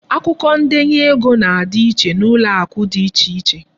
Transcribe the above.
Akwụkwọ ndenye ego na-adị iche n'ụlọakụ dị iche iche.